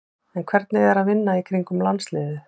En hvernig er að vinna í kringum landsliðið?